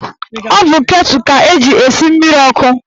Ọ bụ ketụl ka eji esi mmiri ọkụ